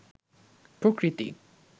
প্রকৃতি